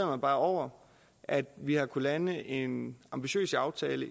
mig bare over at vi har kunnet lande en ambitiøs aftale